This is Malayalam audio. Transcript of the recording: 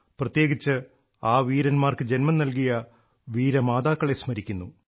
പ്രത്യേകിച്ച് ആ വീരന്മാർക്ക് ജന്മം നൽകിയ വീരമാതാക്കളെ സ്മരിക്കുന്നു